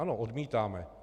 Ano, odmítáme.